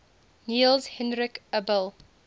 niels henrik abel